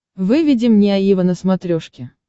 выведи мне аива на смотрешке